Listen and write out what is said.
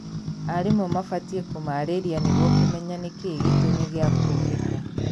arimũ mabatie kũmarĩria nĩguo kũmenya nĩkĩĩ gĩtũmi gĩa kũũgita.